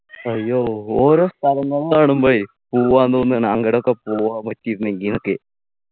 അയ്യോ ഓരോ സ്ഥലങ്ങള് കാണുമ്പോഴേ പോവാൻ തോന്നുണ് അങ്ങടൊക്കെ പോവാൻ പറ്റിയിരുന്നെങ്കി ന്നൊക്കെ